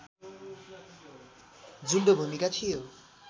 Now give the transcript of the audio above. जुल्दो भूमिका थियो